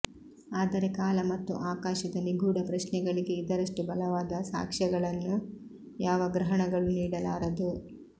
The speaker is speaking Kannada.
ಆದರೆ ಕಾಲ ಮತ್ತು ಆಕಾಶದ ನಿಗೂಢ ಪ್ರಶ್ನೆಗಳಿಗೆ ಇದರಷ್ಟು ಬಲವಾದ ಸಾಕ್ಷ್ಯಗಳನ್ನು ಯಾವ ಗ್ರಹಣಗಳೂ ನೀಡಲಾರದು